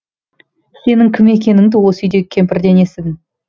сенің кім екеніңді осы үйдегі кемпірден естідім